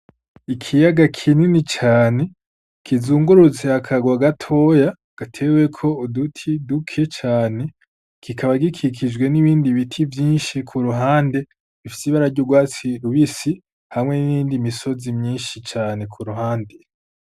Ikiyaga kinini cane kizungurutse akagwa gatoya gateweko uduti duke cane kikaba gikikijwe n'ibindi biti vyinshi ku ruhande ifise ibarary' urwatsi rubisi hamwe n'indi misozi myinshi cane ku ruhande.